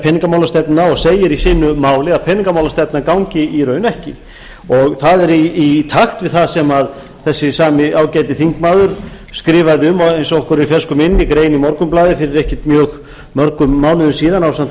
peningamálastefnuna og segir í sínu máli að peningamálastefnan gangi í raun ekki og það er í takt við það sem þessi sami ágæti þingmaður skrifaði um eins og okkur er í fersku minni grein í morgunblaðið fyrir ekki svo mjög mörgum mánuðum síðan ásamt